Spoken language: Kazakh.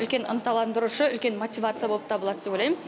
үлкен ынталандырушы үлкен мотивация болып табылады деп ойлаймын